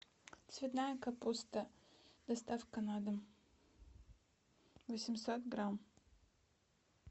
цветная капуста доставка на дом восемьсот грамм